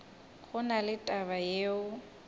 go na le taba yeo